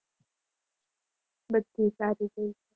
બધુ સારુ છે.